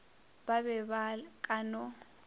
ba be ba ka no